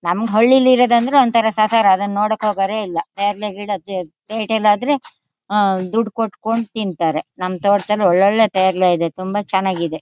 ನಮ್ಗ್ ಹಳ್ಳಿಲ್ ಇರೋದಂದ್ರೆ ಒಂಥರಾ ಸದರ್ಣ ಆದಂಗೆ ಅದನ್ನ ನೋಡಕ್ ಹೋಗೋರೆ ಇಲ್ಲ. ಪ್ಯಾರ್ಲೆ ಗಿಡಕ್ಕೆ ಪೇಟೆ ಲ್ ಆದ್ರೆ ಅಹ್ಹ್ ದುಡ್ಡ್ ಕೊಟ್ಕೊಂಡ್ ತಿಂತಾರೆ. ನಮ್ ತೋಟ್ ದಲ್ಲ್ ಒಳ್ ಒಳ್ಳೆ ಪ್ಯಾರ್ಲೆ ಇದೆ ತುಂಬಾ ಚೆನಾಗಿದೆ .